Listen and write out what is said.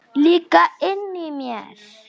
Líka inni í mér.